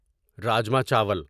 رجما چاول